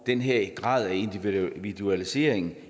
den her grad af individualisering